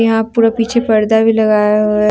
यहाँ पूरा पीछे पर्दा भी लगाया हुआ है।